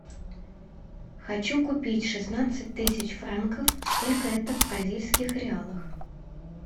хочу купить шестнадцать тысяч франков сколько это в бразильских реалах